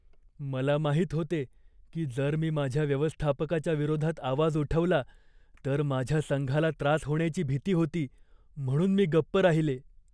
मला माहीत होते की जर मी माझ्या व्यवस्थापकाच्या विरोधात आवाज उठवला तर माझ्या संघाला त्रास होण्याची भीती होती, म्हणून मी गप्प राहिले.